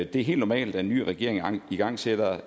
det er helt normalt at en ny regering igangsætter